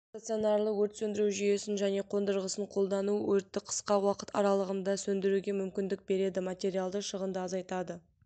стационарлы өрт сөндіру жүйесін және қондырғысын қолдану өртті қысқа уақыт аралығында сөндіруге мүмкіндік береді материалды шығынды азайтады